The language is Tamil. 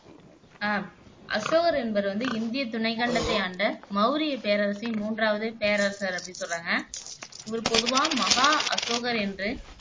ஆஹ் அசோகர் என்பவர் வந்து இந்திய துணைக்கண்டத்தை ஆண்ட மௌரிய பேரரசின் மூன்றாவது பேரரசர் அப்படின்னு சொல்றாங்க இவர் பொதுவா மகா அசோகர் என்று